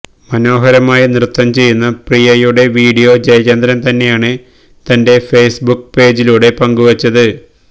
മനോഹരമായി നൃത്തം ചെയ്യുന്ന പ്രിയയുടെ വീഡിയോ ജയചന്ദ്രൻ തന്നെയാണ് തന്റെ ഫെയ്സ്ബുക്ക് പേജിലൂടെ പങ്കുവച്ചത്